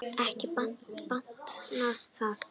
Ekki batnaði það!